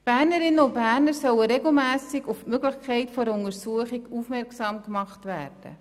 Bernerinnen und Berner sollen regelmässig auf die Möglichkeit einer Untersuchung aufmerksam gemacht werden.